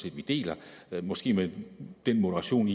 at vi deler måske med den moderation